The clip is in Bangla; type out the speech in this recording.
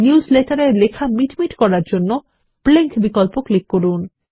নিউজ লেটার এর লেখা মিটমিট করার জন্য ব্লিঙ্ক বিকল্প ক্লিক করুন